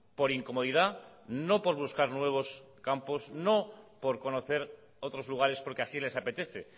por incomodidad no por buscar nuevos campos no por conocer otros lugares porque así les apetece